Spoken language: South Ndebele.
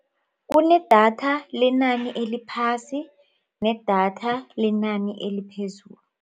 Kunedatha lenani eliphasi nedatha lenani eliphezulu.